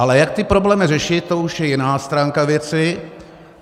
Ale jak ty problémy řešit, to už je jiná stránka věci.